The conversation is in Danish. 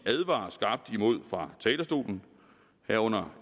advarer skarpt imod fra talerstolen herunder